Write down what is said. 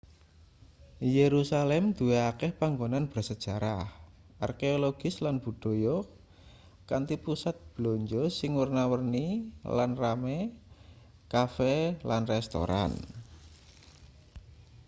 jerusalem duwe akeh panggonan bersejarah arkeologis lan budaya kanthi pusat blanja sing werna-werni lan rame cafe lan restoran